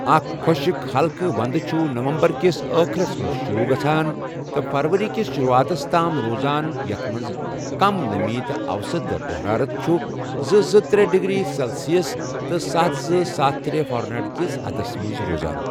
اکھ خۄشِک، ہلکہٕ وندٕ چھُ نومبر کِس آخرس منٛز شروع گژھان تہٕ فروری کِس شروعاتس تام روزان یتھ منٛز کم نمی تہٕ اَوسَط درجہ حرارت چھُ زٕ زٕ ترے ڈگری سیلسسِ تہٕ ستھَ زٕستھَ ترے فریہیٹ کِس حدس منٛز روزان۔